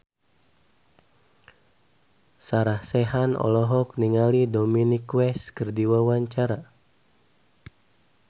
Sarah Sechan olohok ningali Dominic West keur diwawancara